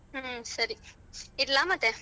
ಹ್ಮ ಸರಿ ಇಡ್ಲ ಮತ್ತೆ.